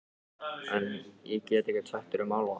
En- ég get ekkert sagt þér um álfa.